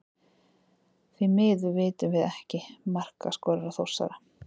Því miður vitum við ekki markaskorara Þórsara.